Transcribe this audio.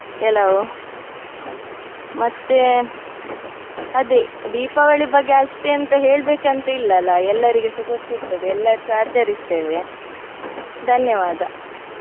ಕೆಲವು. ಮತ್ತೆ ಅದೇ ದೀಪಾವಳಿ ಬಗ್ಗೆ ಅಷ್ಟ್ ಎಂಥ ಹೇಳ್ಬೇಕ್ ಅಂತ ಏನ್ ಇಲ್ಲ ಅಲ್ಲ ಎಲ್ಲರಿಗೆಸ ಗೊತ್ತಿರ್ತದೆ ಎಲ್ಲರ್ಸ ಆಚರಿಸ್ತೇವೆ ಧನ್ಯವಾದ.